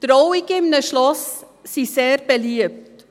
Trauungen in einem Schloss sind sehr beliebt.